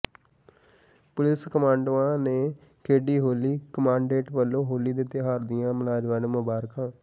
police ਕਮਾਂਡੋਆਂ ਨੇ ਖੇਡੀ ਹੋਲੀ ਕਮਾਡੈਂਟ ਵਲੋਂ ਹੋਲੀ ਦੇ ਤਿਉਹਾਰ ਦੀਆਂ ਮੁਲਾਜ਼ਮਾਂ ਨੂੰ ਮੁਬਾਰਕਾਂ